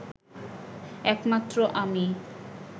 একমাত্র আমি